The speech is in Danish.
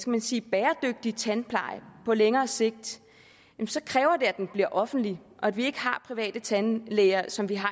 man sige bæredygtig tandpleje på længere sigt så kræver det at den bliver offentlig og at vi ikke har private tandlæger som vi har